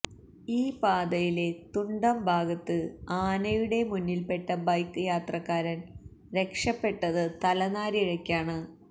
ഈ പാതയിലെ തുണ്ടം ഭാഗത്ത് ആനയുടെ മുന്നിൽപ്പെട്ട ബൈക്ക് യാത്രക്കാരൻ രക്ഷപെട്ടത് തലനാരിഴ്യക്കാണ്